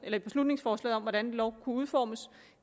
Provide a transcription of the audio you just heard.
i beslutningsforslaget om hvordan lov kunne udformes